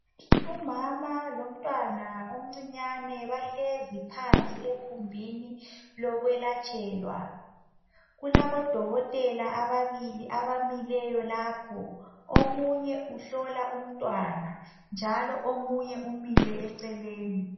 Umama lomntwana omncinyane bahlezi phansi ekhumbini lokwelatshelwa kulabodokotela ababili abamileyo lapho omunye uhlola umntwana njalo omunye umile eceleni.